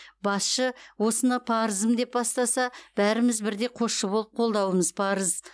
басшы осыны парызым деп бастаса бәріміз бірдей қосшы болып қолдауымыз парыз